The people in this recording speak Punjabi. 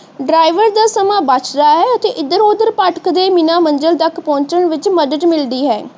ਡਾਰਾਵੇਰ ਦਾ ਸਮਾਂ ਬਚ ਦਾ ਹੈ ਅਤੇ ਏਧਰ ਓਧਰ ਭਟਕ ਦੇ ਬਿਨਾ ਮੰਜਿਲ ਤਕ ਪਹੁਚਣ ਦੇ ਵਿਚ ਮਦਦ ਮਿਲਦੀ ਹੈ